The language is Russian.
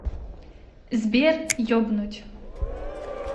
сбер ебнуть